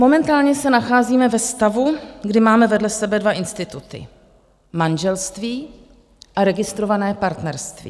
Momentálně se nacházíme ve stavu, kdy máme vedle sebe dva instituty - manželství a registrované partnerství.